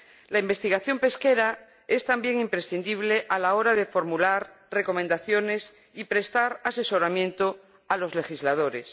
La investigación pesquera es también imprescindible a la hora de formular recomendaciones y prestar asesoramiento a los legisladores.